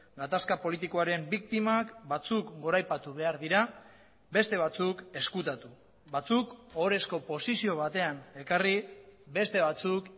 gatazka politikoaren biktimak batzuk goraipatu behar dira beste batzuk ezkutatu batzuk ohorezko posizio batean ekarri beste batzuk